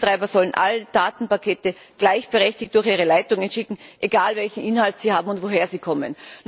Netzbetreiber sollen alle Datenpakete gleichberechtigt durch ihre Leitungen schicken, egal, welchen Inhalt sie haben und woher sie kommen.